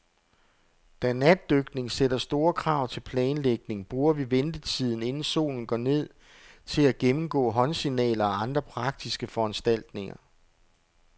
Da natdykning sætter store krav til planlægning, bruger vi ventetiden, inden solen går ned, til at gennemgå håndsignaler og andre praktiske foranstaltninger.